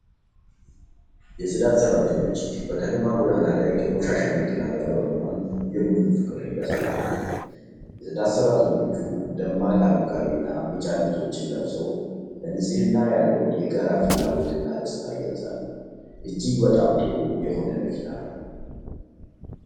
የፅዳት ሰራተኞች በከተማ ጎዳና ላይ ከቆሻሻ መኪና ጋር በመሆን የቡድን ፍቅርን እያሳዩ ነው። የፅዳት ሰራተኞቹ ደማቅ አረንጓዴና ቢጫ ልብሶችን ለብሰው፣ ለንፅህና ያለውን የጋራ ፍላጎትና ደስታ ይገልጻሉ። እጅግ በጣም ጥሩ የሆነ መኪና ነው።